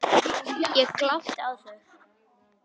Ég glápi á þau.